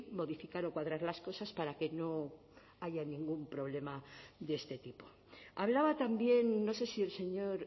modificar o cuadrar las cosas para que no haya ningún problema de este tipo hablaba también no sé si el señor